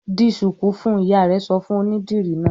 "Di ṣùkú fún un!" Ìyá rẹ̀ sọ fún onídìrí náà.